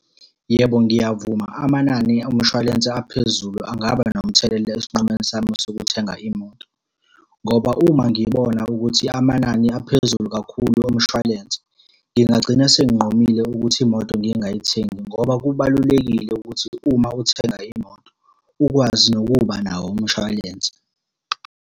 Yebo, ngiyavuma amanani omshwalense aphezulu angaba nomthelela esinqumeni sami sokuthenga imoto, ngoba uma ngibona ukuthi amanani aphezulu kakhulu omshwalense, ngingagcina senginqumile ukuthi imoto ngingayithengi, ngoba kubalulekile ukuthi uma uthenga imoto, ukwazi nokuba nawo umshwalense.